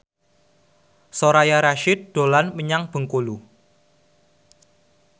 Soraya Rasyid dolan menyang Bengkulu